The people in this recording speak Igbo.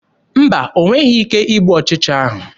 Mba, o nweghị ike igbu ọchịcha ahụ.